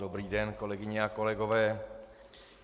Dobrý den, kolegyně a kolegové.